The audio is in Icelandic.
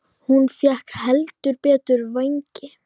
Hún fékk heldur betur vængi.